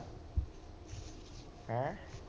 ਹੈਂ